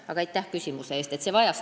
Aga aitäh küsimuse eest!